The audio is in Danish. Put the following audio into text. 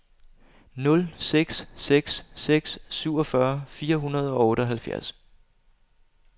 nul seks seks seks syvogfyrre fire hundrede og otteoghalvfjerds